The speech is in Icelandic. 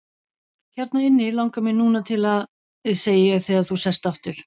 Hérna inni langar mig núna til að., segi ég þegar þú sest aftur.